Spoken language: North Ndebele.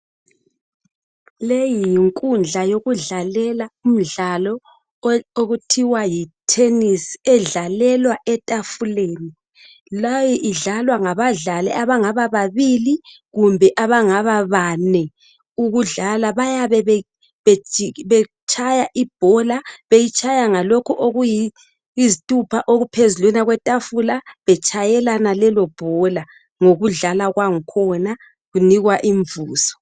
Leyi yinkundla yokudlalela umdlalo okuthiwa yithenisi edlalelwa etafuleni. Leyi idlalwa ngabadlali abangaba babili kumbe abangaba bane ukudlala bayabe betshaya ibhola beyitshaya ngalokhu okuyizithupha okuphezu kwetafula betshayelana lelo bhola ngokudlala kwangkhona benikwa imvuzo.